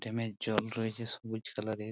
ড্যামের জল রয়েছে সবুজ কালারের ।